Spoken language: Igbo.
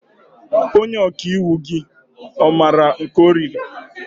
Onye ọkàiwu gị ọ maara nke ọ riri?